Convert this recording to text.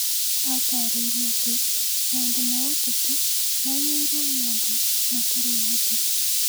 Ataarĩirie atĩ maũndũ ma ũteti maiyũirũo nĩ andũ matarĩ ehokeku.